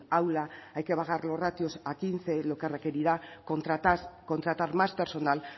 aula hay que bajar los ratios a quince lo que requerirá contratar contratar más personal